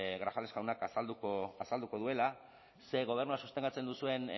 grajales jaunak azalduko duela ze gobernua sostengatzen duzuen